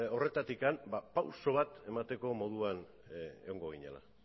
horretatik ba pausu bat emateko moduan egongo ginela